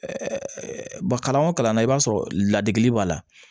ba kalan o kalan na i b'a sɔrɔ ladege b'a la